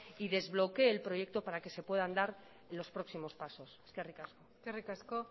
y desbloquee el proyecto para que se puedan dar los próximos pasos eskerrik asko eskerrik asko